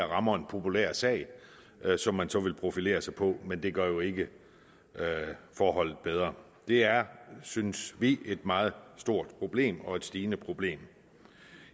rammer en populær sag som man så vil profilere sig på men det gør jo ikke forholdene bedre det er synes vi et meget stort problem og et stigende problem